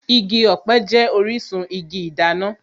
Igi ọ̀pẹ jẹ́ orísun igi ìdáná